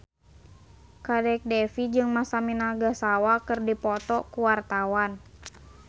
Kadek Devi jeung Masami Nagasawa keur dipoto ku wartawan